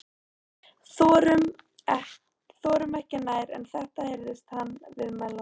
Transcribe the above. . þorum ekki nær en þetta- heyrði hann viðmælanda